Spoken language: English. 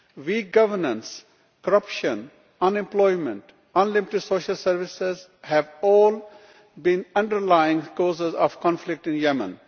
Weak governance, corruption, unemployment and unlimited social services have all been underlying causes of conflict in Yemen.